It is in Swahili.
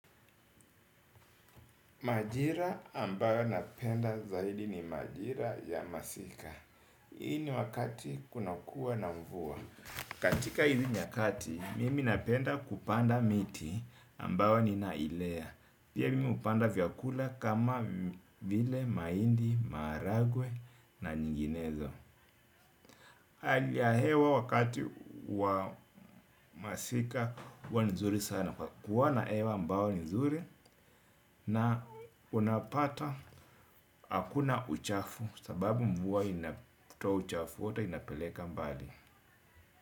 Majira ambayo napenda zaidi ni majira ya masika. Hii ni wakati kunakuwa na mvua. Katika hizi nyakati, mimi napenda kupanda miti ambayo ninailea. Pia mimi hupanda vyakula kama vile, mahindi, maharagwe na nyinginezo. Hali ya hewa wakati wa masika huwa nzuri sana. Kwa kuwa na hewa ambao ni nzuri na unapata hakuna uchafu sababu mvua inatoa uchafu wote inapeleka mbali.